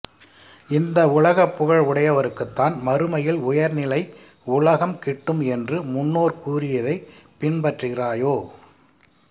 இந்த உலகில் புகழ் உடையவருக்குத்தான் மறுமையில் உயர்நிலை உலகம் கிட்டும் என்று முன்னோர் கூறியதைப் பின்பற்றுகிறாயோ